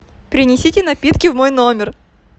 принесите напитки в мой номер